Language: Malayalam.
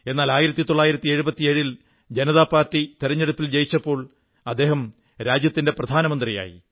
എന്നാൽ 1977 ൽ ജനതാപാർട്ടി തിരഞ്ഞെടുപ്പിൽ ജയിച്ചപ്പോൾ അദ്ദേഹം രാജ്യത്തിന്റെ പ്രധാനമന്ത്രിയായി